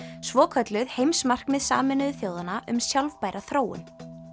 svokölluð heimsmarkmið Sameinuðu þjóðanna um sjálfbæra þróun